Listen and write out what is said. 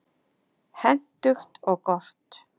Hentugt og gott.